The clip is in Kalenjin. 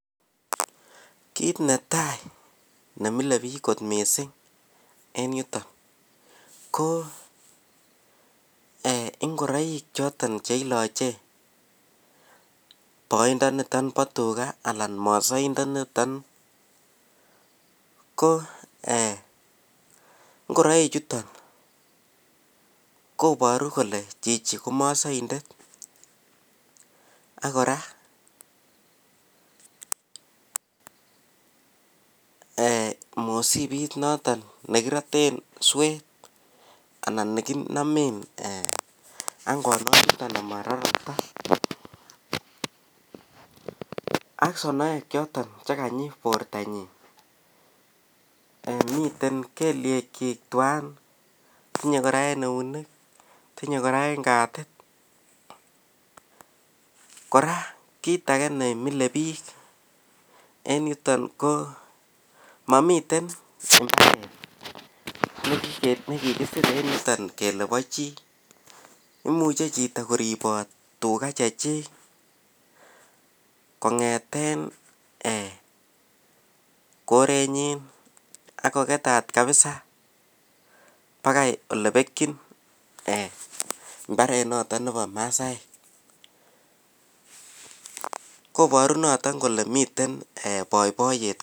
kiit netai nemile biik kot mising en yuton ko eeh ngoroik choton cheiloche boondoniton bo tuga anan mosoindoniton ko eeh ngoroik chuton koboru kole chichi ko mosoindet ak kora eeh mosibit noton negiroten sweeet anan neginome angonok noton amararakta ak sonoek choton cheganyi borto nyiin, chemiten kelyekyiik twaan tinye kora en eunek, tinye kora en katiit, kora kiit age nemile biik en yuton ko momiten kiit negisir en yuton kele bo chi, imuche koriboot chito tuga chechik kongeten korenyin ak kogetaat kabisa bagai elebekyin mbareet noton nebo masaek, koboriu noton kole miten boiboiyet.